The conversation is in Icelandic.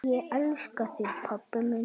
Ég elska þig pabbi minn.